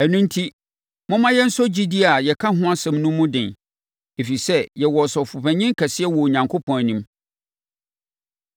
Ɛno enti, momma yɛnsɔ gyidie a yɛka ho asɛm no mu den. Ɛfiri sɛ yɛwɔ Ɔsɔfopanin kɛseɛ wɔ Onyankopɔn anim.